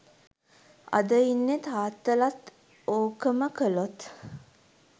අද ඉන්න තාත්තලත් ඕකම කලොත්